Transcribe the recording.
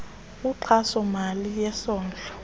inkxaso mali yesondlo